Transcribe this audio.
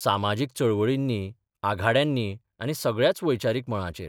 सामाजीक चळवळींनी, आघाड्यांनी आनी सगळ्याच वैचारीक मळांचेर.